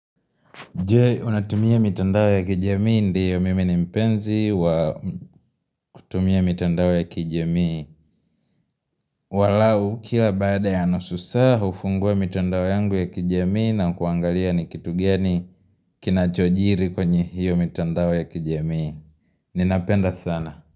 Je, unatumia mitandao ya kijamii ndiyo mimi ni mpenzi wa kutumia mitandao ya kijamii angalau kila baada ya nusu saa, hufungua mitandao yangu ya kijamii na kuangalia ni kitu gani kinachojiri kwenye hiyo mitandao ya kijami Ninapenda sana.